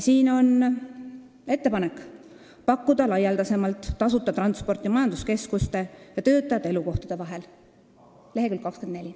Siin on ettepanek pakkuda laialdasemalt tasuta transporti majanduskeskuste ja töötajate elukohtade vahel, see on leheküljel 24.